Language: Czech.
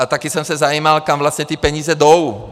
A také jsem se zajímal, kam vlastně ty peníze jdou.